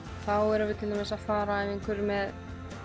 þá erum við til dæmis að fara ef einhver er með